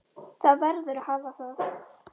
Það verður að hafa það.